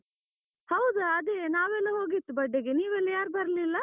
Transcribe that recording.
ಹೌದಾ ಅದೇ ನಾವೆಲ್ಲ ಹೋಗಿತ್ತು birthday ಗೆ ನೀವೆಲ್ಲ ಯಾರ್ ಬರ್ಲಿಲ್ಲ.